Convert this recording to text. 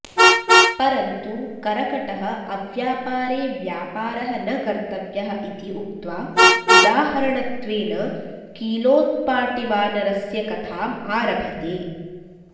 परन्तु करकटः अव्यापरे व्यापारः न कर्तव्यः इति उक्त्वा उदाहरणत्वेन कीलोत्पाटिवानरस्य कथाम् आरभते